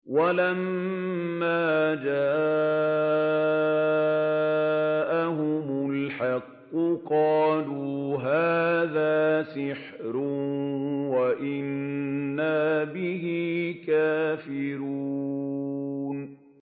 وَلَمَّا جَاءَهُمُ الْحَقُّ قَالُوا هَٰذَا سِحْرٌ وَإِنَّا بِهِ كَافِرُونَ